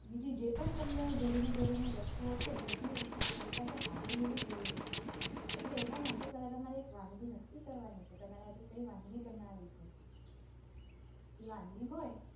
બીજી જે પણ તમને જરૂરી જરૂરી વસ્તુઓ છે એ બધી વસ્તુઓ તમારી પાસે હાજર હોવી જરૂરી છે અટલે એના માટે પેલા તમારે એક વાનગી નક્કી કરવાની કે તમારે આજે કઇ વાનગી બનાવી છે. ઇ વાનગી હોય